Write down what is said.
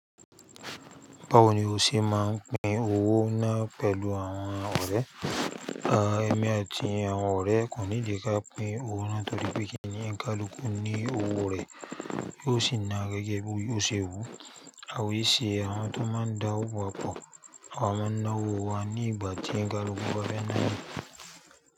Báwo ni o ṣe máa ń pín owó náà pẹ̀lú àwọn ọ̀rẹ́? Ẹ̀mi àti àwọn ọ̀rẹ́ kò need kà pín owó náà torí pe kinní oni kálukú ní owó rẹ̀. Yóò sì na gẹ́gẹ́ bí ó ṣe wù. Awa è ṣe àwọn tó máa ń da owó papọ̀, àwa máa ń ná owó wa ní ìgbà tí ẹ̀ń kálukú bá fẹ́ nà ni.